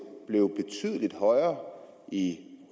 blev betydelig højere i